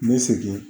N bɛ segin